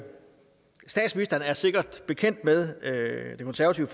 er sikkert bekendt med det konservative